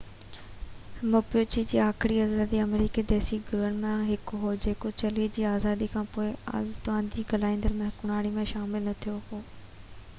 Mapuche بہ آخري آزادي آمريڪي ديسي گروهن مان هڪ هو جيڪو چلي جي آزادي کانپوءِ بہ اطالوي ڳالهائيندڙ جي حڪمراني ۾ شامل نہ ٿيو هو